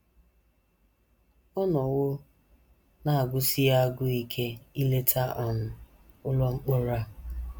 Ọ nọwo na - agụsi ya agụụ ike ileta um ụlọ mkpọrọ a.